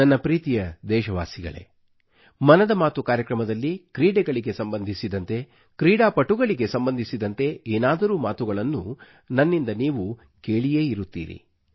ನನ್ನ ಪ್ರೀತಿಯ ದೇಶವಾಸಿಗಳೇ ಮನದ ಮಾತು ಕಾರ್ಯಕ್ರಮದಲ್ಲಿ ಕ್ರೀಡೆಗಳಿಗೆ ಸಂಬಂಧಿಸಿದಂತೆ ಕ್ರೀಡಾಪಟುಗಳಿಗೆ ಸಂಬಂಧಿಸಿದಂತೆ ಏನಾದರೂ ಮಾತುಗಳು ನನ್ನಿಂದ ನೀವು ಕೇಳಿರುತ್ತೀರಿ